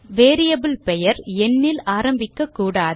variable பெயர் எண்ணில் ஆரம்பிக்க கூடாது